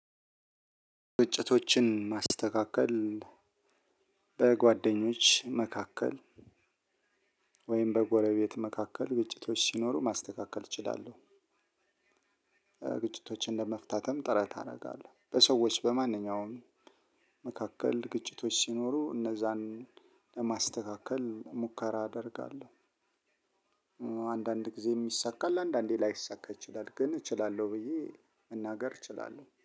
ግጭቶችን ማስተካከል በጓደኞች መካከል ወይም በጎረቤት መካከል ግጭቶች ሲኖሩ ማስተካከል እችላለሁ። ግጭቶችን ለመፍታትም ጥረት አደርጋለሁ። በሰዎች በማንኛውም መካከል ግጭቶች ሲኖሩ እነዛን ለማስተካከል ሙከራ አደርጋለሁ። አንዳንድ ጊዜ ይሳካል አንዳንዴ ላይሳካ ይችላል ግን እችላለሁ ብዬ መናገር እችላለሁ